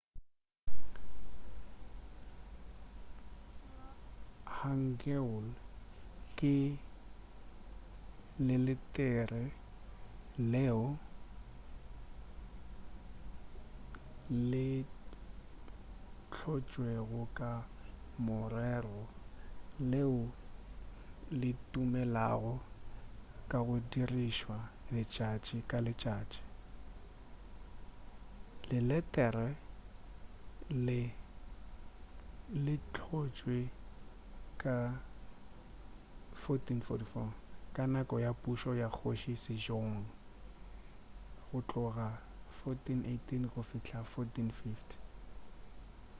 hangeul ke leletere leo le hlotšwego ka morero leo le tumulego ka go dirišwa letšatši ka letšatši. leletere le hlotšwe ka 1444 ka nako ya pušo ya kgoši sejong 1418-1450